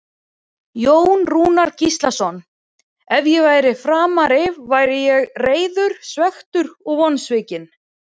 Jón Rúnar Gíslason Ef ég væri Framari væri ég reiður, svekktur og vonsvikinn.